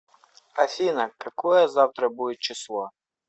афина какое завтра будет число